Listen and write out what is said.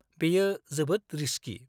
बेयो जोबोद रिस्कि।